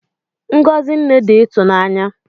Ngọzi Nne dị ịtụnanya